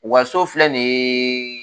U ka so filɛ nin ye